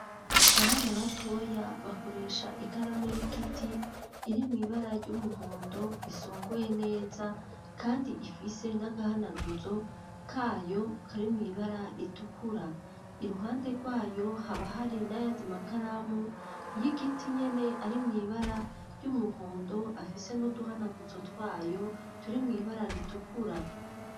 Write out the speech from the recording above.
Abana batoya bakoresha ikaramu y'igiti irimwo ibara ry'umuhondo isongoye neza kandi ifise n'agahanaguzo kayo kari mw'ibara ritukura iruhande rwayo haba hari n'ayandi makaramu y'igiti nyene ari muibara ry'umuhondo afise n'uduhanaguzo twayo turi mw'ibara ritukura.